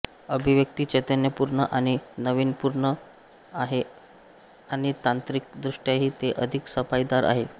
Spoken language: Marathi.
अभिव्यक्ती चैतन्यपूर्ण आणि नाविन्यपूर्ण आहे आणि तांत्रिकदृष्ट्याही ते अधिक सफाईदार आहे